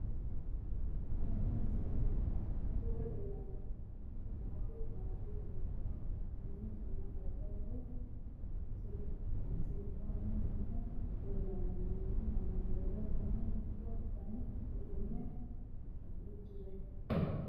Tenne misilenni la'nanniri woy leellannori maattiya noori amadde yinummoro meenttunna labbalu siribbanni noohu leelanno duuchu manni ledo noohu mitto danni uudunne udirre